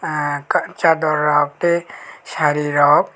ah chador rok tei saree rok.